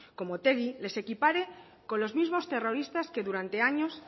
como otegi les equipare con los mismos terroristas que durante años